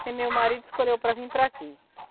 Porque meu marido escolheu para vim para aqui.